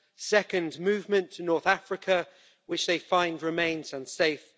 secondly, movement to North Africa, which they find remains unsafe